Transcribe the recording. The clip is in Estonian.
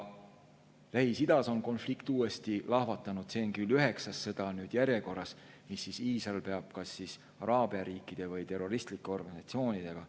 Lähis-Idas on konflikt uuesti lahvatanud, see on järjekorras üheksas sõda, mida Iisrael peab kas araabia riikide või terroristlike organisatsioonidega.